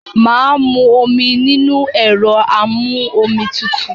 Mà á mú omi nínú ẹ̀rọ amú-omi tutù.